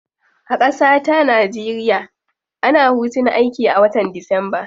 A kasata nigeria, ana hutun aiki a watan disamba.